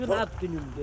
Bu gün ad günümdür.